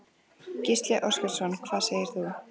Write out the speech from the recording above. Gísli Óskarsson: Hvað segir þú?